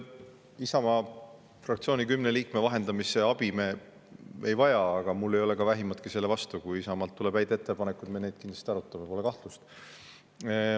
Isamaa fraktsiooni kümne liikme vahendamise abi me ei vaja, aga mul ei ole ka vähimatki selle vastu, kui Isamaalt tuleb häid ettepanekuid, me kindlasti arutame neid, pole kahtlust.